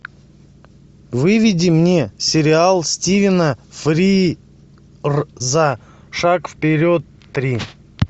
выведи мне сериал стивена фрирза шаг вперед три